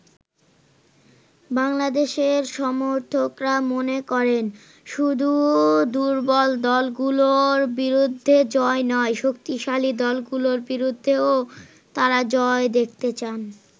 বাংলাদেশের সমর্থকরা মনে করেন, শুধু দুর্বল দলগুলোর বিরুদ্ধে জয় নয়, শক্তিশালী দলগুলোর বিরুদ্ধেও তারা জয় দেখতে চান।